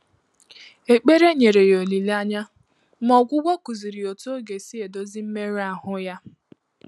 Ékpèré nyèrè yá ólílé ányá, mà ọ́gwụ́gwọ́ kụ́zị̀rị̀ yá ótú ọ́ gà-èsí èdózí mmérụ́ áhụ́ yá.